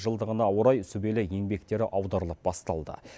жылдығына орай сүбелі еңбектері аударылып басталды